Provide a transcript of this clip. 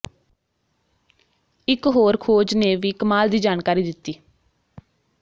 ਇੱਕ ਹੋਰ ਖੋਜ ਨੇ ਵੀ ਕਮਾਲ ਦੀ ਜਾਣਕਾਰੀ ਦਿੱਤੀ